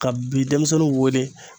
Ka bi denmisɛnninw wele